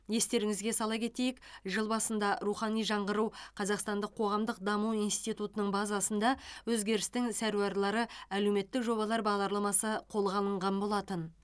естеріңізге сала кетейік жыл басында рухани жаңғыру қазақстандық қоғамдық даму институтының базасында өзгерістің сәруарлары әлеуметтік жобалар бағдарламасы қолға алынған болатын